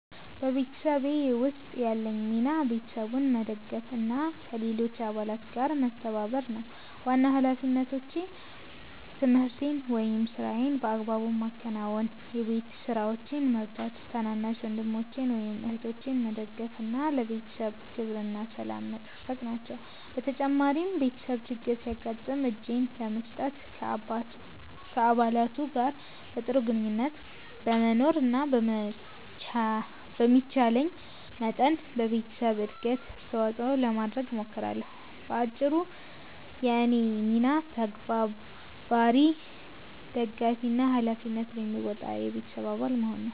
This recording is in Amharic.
በቤተሰቤ ውስጥ ያለኝ ሚና ቤተሰቡን መደገፍ እና ከሌሎች አባላት ጋር መተባበር ነው። ዋና ሃላፊነቶቼ ትምህርቴን ወይም ሥራዬን በአግባቡ ማከናወን፣ የቤት ስራዎችን መርዳት፣ ታናናሽ ወንድሞችን ወይም እህቶችን መደገፍ እና ለቤተሰቡ ክብርና ሰላም መጠበቅ ናቸው። በተጨማሪም ቤተሰብ ችግር ሲያጋጥም እጄን ለመስጠት፣ ከአባላቱ ጋር በጥሩ ግንኙነት ለመኖር እና በሚቻለኝ መጠን ለቤተሰቡ እድገት አስተዋጽኦ ለማድረግ እሞክራለሁ። በአጭሩ፣ የእኔ ሚና ተባባሪ፣ ደጋፊ እና ሃላፊነቱን የሚወጣ የቤተሰብ አባል መሆን ነው።